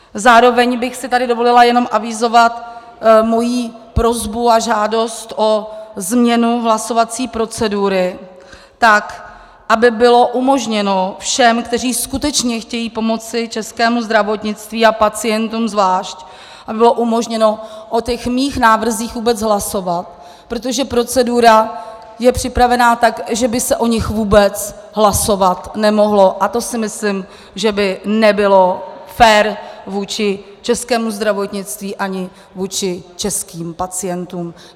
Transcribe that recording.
Zároveň bych si tady dovolila jenom avizovat mou prosbu a žádost o změnu hlasovací procedury tak, aby bylo umožněno všem, kteří skutečně chtějí pomoci českému zdravotnictví a pacientům zvlášť, aby bylo umožněno o těch mých návrzích vůbec hlasovat, protože procedura je připravena tak, že by se o nich vůbec hlasovat nemohlo, a to si myslím, že by nebylo fér vůči českému zdravotnictví ani vůči českým pacientům.